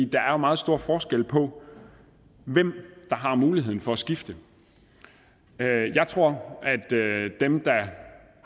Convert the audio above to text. der er meget stor forskel på hvem der har muligheden for at skifte jeg tror at dem der